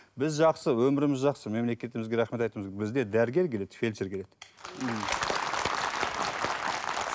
біз жақсы өміріміз жақсы мемлекетімізге рахмет айтуымыз керек бізге дәрігер келеді фельдшер келеді